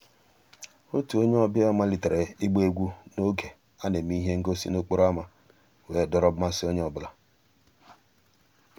ótú ónyé ọ̀bíá màlítérè ìgbá égwú n'ògé á ná-èmè íhé ngósì n'òkpòró ámá wéé dòọ́rọ́ mmàsí ónyé ọ́ bụ́là..